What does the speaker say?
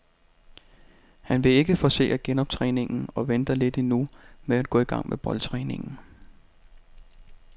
Han vil ikke forcere genoptræningen og venter lidt endnu med at gå i gang med boldtræningen.